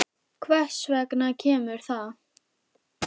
Hvers vegna kemur það?